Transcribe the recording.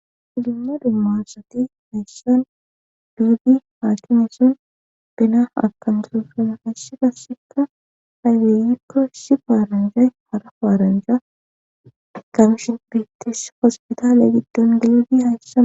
Filima dummassati haysshan duudi haakimison bena akantufuna hassh fasseka haygeeyikko si paaranjay hara paaranja kamishin briittesa hospitaale giddon gilidi haysssama